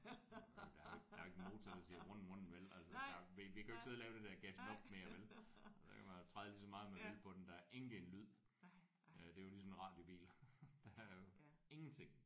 Der er der er jo ikke en motor der siger vrøn vrøn vel altså? Vi kan jo ikke sidde og lave det der gassen op mere vel? Man kan træde lige så meget man vil på den. Der er ingen en lyd. Det er jo ligesom en radiobil. Der er jo ingenting